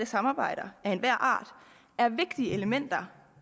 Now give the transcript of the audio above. samarbejde af enhver art er vigtige elementer